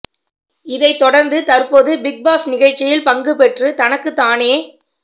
இதை தொடர்ந்து தற்போது பிக் பாஸ் நிகழ்ச்சியில் பங்கு பெற்று தனக்கு தானே